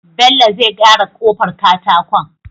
Bello zai gyara kofar katakon